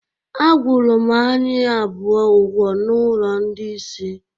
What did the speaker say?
Agwụrụ m anyị abụọ ụgwọ na ụlọ ndị isi